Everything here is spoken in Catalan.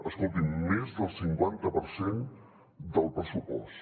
escolti’m més del cinquanta per cent del pressupost